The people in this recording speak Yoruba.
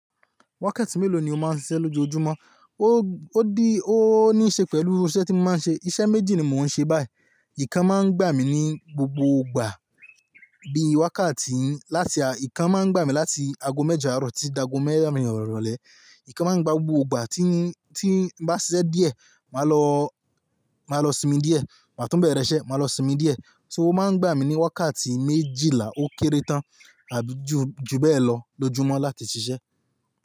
Wákàtí mélòó ni o máa ń ṣiṣẹ́ lójoojúmọ́? Ó, ó di, ó ní ṣe pẹ̀lú iṣẹ́ tí mo máa ń ṣe. Iṣẹ́ méjì ni mò ń ṣe báyìí. Nǹkan máa ń gbà mí ní gbogbo ìgbà bí i wákàtí láti a-- nǹkan máa ń gbà mí láti ago mẹ́jọ àárọ̀ tí dago mẹ́rìn iròlẹ́. Nǹkan máa ń gbà gbogbo ìgbà tí ń, tí ń bá ṣiṣẹ́ díẹ̀, màá lọ, màá lọ sinmi díẹ̀. Màá tún bẹ̀rẹ̀ iṣẹ́, màá lọ sinmi díẹ̀. So òun máa ń gbà mí ní wákàtí méjìlá ó kéré tán àbí ju, ju bẹ́ẹ̀ lọ lójúmọ́ láti ṣiṣẹ́.